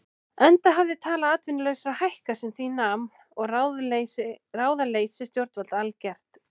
Enda hafði tala atvinnulausra hækkað sem því nam og ráðaleysi stjórnvalda algert.